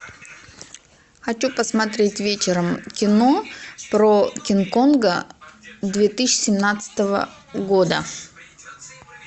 хочу посмотреть вечером кино про кинг конга две тысячи семнадцатого года